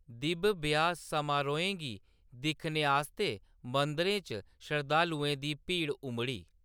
दिब्ब ब्याह्‌‌ समारोहें गी दिक्खने आस्तै मंदिरें च शरधालुएं दी भीड़ उमड़ी।